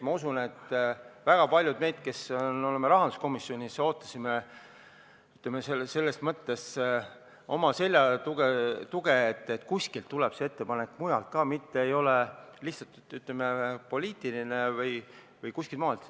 Ma usun, et väga paljud nendest, kes on rahanduskomisjonis, ootasid omale tuge, nad ootasid, et see ettepanek tuleks ka kuskilt mujalt, mitte ei oleks lihtsalt, ütleme, poliitiline ettepanek.